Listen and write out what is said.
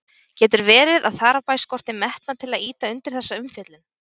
Getur verið að þar á bæ skorti metnað til að ýta undir þessa umfjöllun?